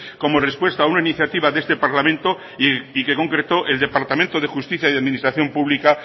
como respuesta a una iniciativa de este parlamento y que concretó el departamento de justicia y administración pública